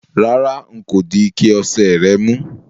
Rárá, n kò di ike ose rè mú